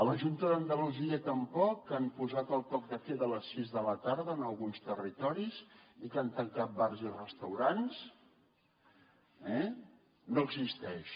la junta d’andalusia tampoc han posat el toc de queda a les sis de la tarda en alguns territoris i han tancat bars i restaurants eh no existeix